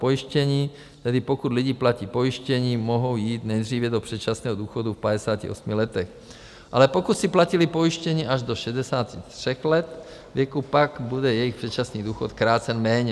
Pojištění, tedy pokud lidi platí pojištění, mohou jít nejdříve do předčasného důchodu v 58 letech, ale pokud si platili pojištění až do 63 let věku, pak bude jejich předčasný důchod krácen méně.